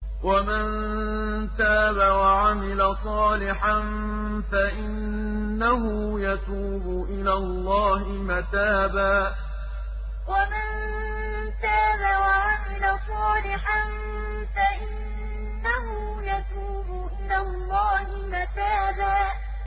وَمَن تَابَ وَعَمِلَ صَالِحًا فَإِنَّهُ يَتُوبُ إِلَى اللَّهِ مَتَابًا وَمَن تَابَ وَعَمِلَ صَالِحًا فَإِنَّهُ يَتُوبُ إِلَى اللَّهِ مَتَابًا